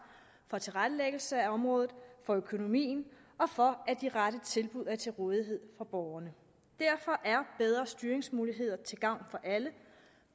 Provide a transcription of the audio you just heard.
for tilrettelæggelse af området for økonomien og for at de rette tilbud er til rådighed for borgerne derfor er bedre styringsmuligheder til gavn for alle